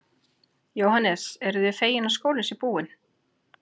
Jóhannes: Eruð þið fegin að skólinn sé búinn?